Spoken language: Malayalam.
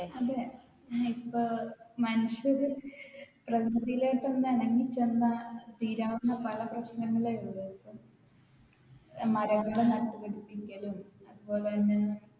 അതെ. ഇപ്പൊ മനുഷ്യർ പ്രകൃതിയിലോട്ട് ഒന്ന് ഇണങ്ങി ചെന്ന് തീരാവുന്ന പല പ്രശ്നങ്ങളെ ഉള്ളു. മരമൊക്കെ നട്ടുപിടിപ്പിക്കലും, അതുപോലെ തന്നെ